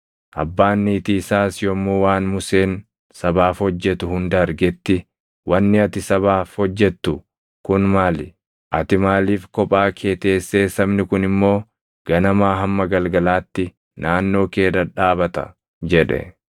Abbaan niitii isaas yommuu waan Museen sabaaf hojjetu hunda argetti, “Wanni ati sabaaf hojjettu kun maali? Ati maaliif kophaa kee teessee sabni kun immoo ganamaa hamma galgalaatti naannoo kee dhadhaabata?” jedhe.